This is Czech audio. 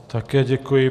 Také děkuji.